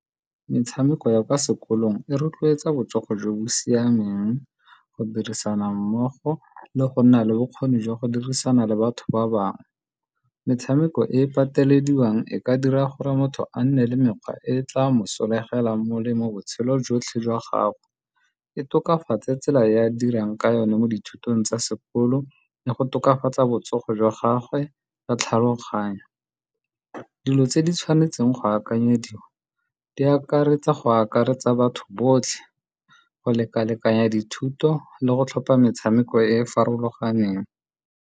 Metshameko ya kwa sekolong e rotloetsa botsogo jo bo siameng, go dirisana mmogo le go nna le bokgoni jwa go dirisana le batho ba bangwe. Metshameko e e patelediwang e ka dira gore motho a nne le mekgwa e tla mosolegelang molemo botshelo jotlhe jwa gagwe. E tokafatse tsela e a dirang ka yone mo dithutong tsa sekolo le go tokafatsa botsogo jwa gagwe jwa tlhaloganyo. Dilo tse di tshwanetseng go akanyediwa, di akaretsa go akaretsa batho botlhe, go lekalekanya dithuto le go tlhopha metshameko e e farologaneng.